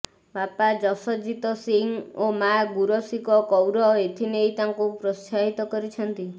ବାପା ଜସଜିତ ସିଂ ଓ ମାଆ ଗୁରଶୀକ କୌର ଏଥିନେଇ ତାଙ୍କୁ ପ୍ରୋତ୍ସାହିତ କରିଛନ୍ତି